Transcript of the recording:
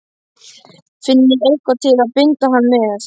FINNIÐI EITTHVAÐ TIL AÐ BINDA HANN MEÐ!